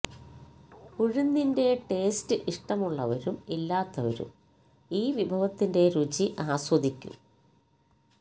ഉഴുന്നിന്റെ taste ഇഷ്ടമുള്ളവരും ഇല്ലാത്തവരും ഈ വിഭവത്തിന്റെ രുചി ആസ്വദിക്കും